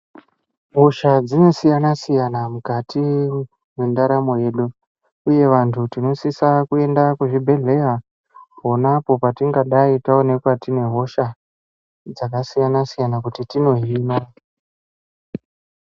Hosha dzinosiyana-siyana mukati mwendaramo yedu, uye vantu tinosisa kuenda kuzvibhedhleya pona apo patingadai, taonekwa tine hosha dzakasiyana-siyana kuti tinohina.